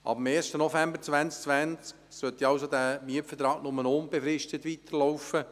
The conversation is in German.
Ab dem 1. November 2020 sollte der Mietvertrag nur noch unbefristet weiterlaufen.